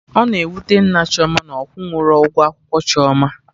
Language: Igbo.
Ọ na-ewute Nna Chioma na ọ kwụrọ ụgwọ akwụkwọ Chioma